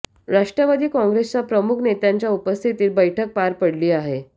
राष्ट्रवादी काँग्रेसच्या प्रमुख नेत्यांच्या उपस्थितीत बैठक पार पडली आहे